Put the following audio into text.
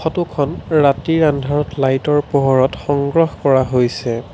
ফটোখন ৰাতিৰ আন্ধাৰত লাইটৰ পোহৰত সংগ্ৰহ কৰা হৈছে।